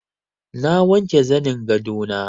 Na wanke zanin gado na.